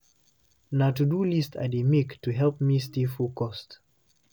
Na to-do list I dey make to help me stay focused.